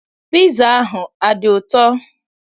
Piza ahụ adị ụtọ?